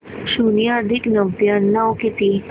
शून्य अधिक नव्याण्णव किती